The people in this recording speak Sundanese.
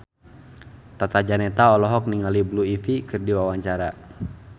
Tata Janeta olohok ningali Blue Ivy keur diwawancara